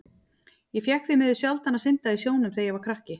Ég fékk því miður sjaldan að synda í sjónum þegar ég var krakki.